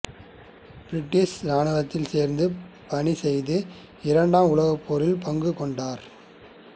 British இராணுவத்தில் சேர்ந்து பணி செய்து இரண்டாம் உலகப் போரில் பங்கு கொண்டார்